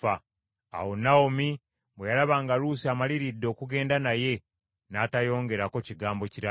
Awo Nawomi bwe yalaba nga Luusi amaliridde okugenda naye, n’atayongerako kigambo kirala.